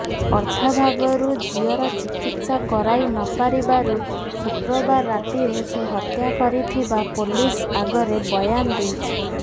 ଅର୍ଥାଭାବରୁ ଝିଅର ଚିକିତ୍ସା କରାଇ ନପାରିବାରୁ ଶୁକ୍ରବାର ରାତିରେ ସେ ହତ୍ୟା କରିଥିବା ପୋଲିସ ଆଗରେ ବୟାନ ଦେଇଛି